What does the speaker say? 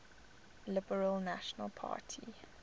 liberal national party